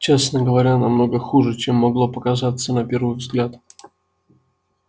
честно говоря намного хуже чем могло показаться на первый взгляд